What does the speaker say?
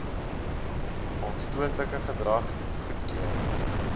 aanstootlike gedrag goedkeur